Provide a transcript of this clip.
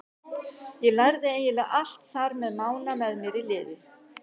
Ég lærði eiginlega allt þar með Mána með mér í liði.